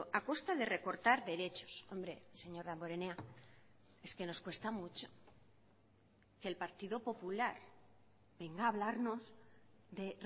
a costa de recortar derechos hombre señor damborenea es que nos cuesta mucho que el partido popular venga a hablarnos de